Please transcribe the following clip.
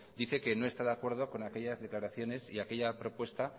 dice que no está de acuerdo con aquellas declaraciones y aquella propuesta